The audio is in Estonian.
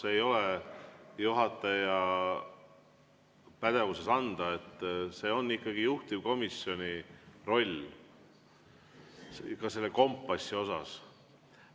See ei ole juhataja pädevuses anda, see on juhtivkomisjoni roll, ka selle kompassi osas.